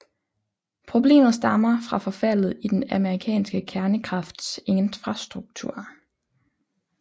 Problemet stammer fra forfaldet i den amerikanske kernekrafts infrastruktur